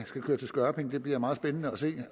køre til skørping bliver det meget spændende at se